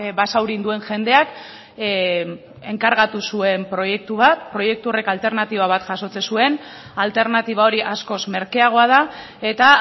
basaurin duen jendeak enkargatu zuen proiektu bat proiektu horrek alternatiba bat jasotzen zuen alternatiba hori askoz merkeagoa da eta